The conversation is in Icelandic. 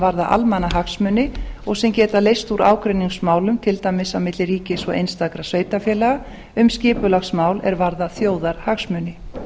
varða almannahagsmuni og sem geta leyst úr ágreiningsmálum til dæmis á milli ríkis og einstakra sveitarfélaga um skipulagsmál er varða þjóðarhagsmuni